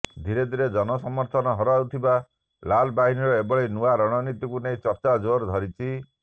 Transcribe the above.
ଧିରେ ଧିରେ ଜନ ସମର୍ଥନ ହରାଉଥିବା ଲାଲବାହିନୀର ଏଭଳି ନୂଆ ରଣନୀତିକୁ ନେଇ ଚର୍ଚ୍ଚା ଜୋର ଧରିଛି